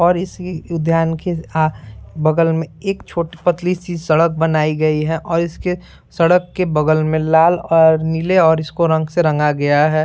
और इसी उद्यान के आ बगल में एक छोटी पतली सी सड़क बनाई गई है और इसके सड़क के बगल में लाल और नीले और इसको रंग से रंगा गया है।